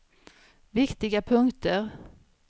viktiga punkter